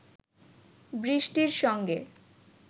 বৃষ্টির সঙ্গে